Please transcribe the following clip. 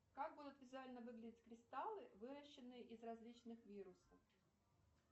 как будуть визуально выглядеть кристаллы выращенные из различных вирусов